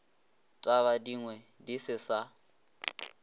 taba dingwe di se sa